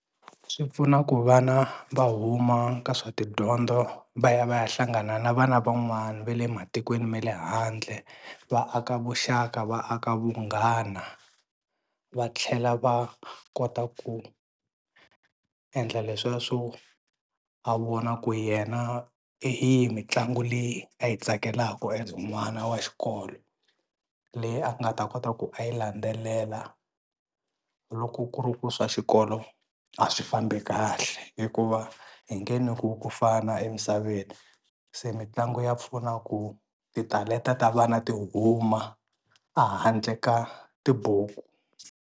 Swi pfuna ku vana va huma ka swa tidyondzo va ya va ya hlangana na vana van'wani va le matikweni ma le handle va aka vuxaka va aka vunghana va tlhela va kota ku endla leswiya swo a vona ku yena hi yihi mitlangu leyi a yi tsakelaka as n'wana wa xikolo leyi a nga ta kota ku a yi landzelela loko ku ri ku swa xikolo a swi fambi kahle hikuva hi nge nyikiwi ku fana emisaveni, se mitlangu ya pfuna ku titalenta ta vana ti huma a handle ka tibuku.